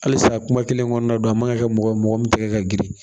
Halisa kuma kelen kɔnɔna don a man ka kɛ mɔgɔ ye mɔgɔ min tɛgɛ ka girin